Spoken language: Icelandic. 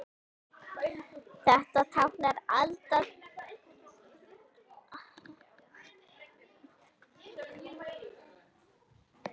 Þetta táknar aldauða frá harðræði heimsins.